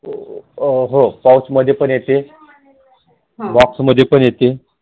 हो Pouch मध्ये पण येते Box मध्ये पण येते